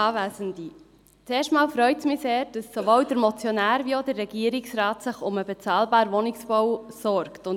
Zuerst einmal: Es freut mich sehr, dass sowohl der Motionär als auch der Regierungsrat sich um bezahlbaren Wohnungsbau sorgen.